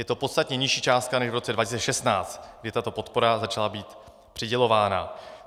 Je to podstatně nižší částka než v roce 2016, kdy tato podpora začala být přidělována.